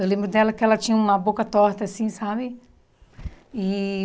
Eu lembro dela que ela tinha uma boca torta assim, sabe? E